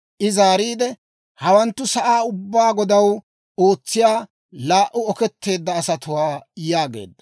I zaariide, «Hawanttu sa'aa ubbaa Godaw ootsiyaa, laa"u oketteedda asatuwaa» yaageedda.